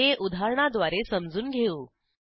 हे उदाहरणाद्वारे समजून घेऊ